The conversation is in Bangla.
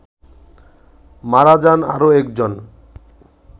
মারা যান আরো একজন